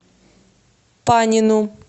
панину